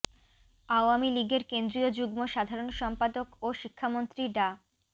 আওয়ামী লীগের কেন্দ্রীয় যুগ্ম সাধারণ সম্পাদক ও শিক্ষামন্ত্রী ডা